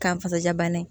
K'an fasaja banni